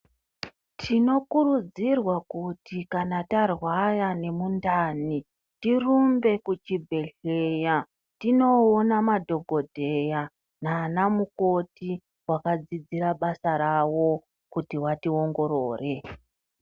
Tinokurudzirwa kuti kana tarwara nemundani tirumbe kuchibhedhleya , tinowona madhokodheya nanamukoti vakadzidzira basa ravo kuti vatiwongorore.